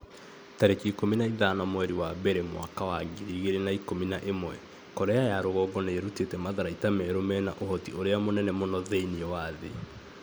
tarĩki ikũmi na ithano mweri wa mbere mwaka wa ngiri igĩrĩ na ikũmi na ĩmwe Korea ya rũgongo nĩ ĩrutĩte matharaita merũ mena ũhoti ũrĩa mũnene mũno thĩinĩ wa thĩ.'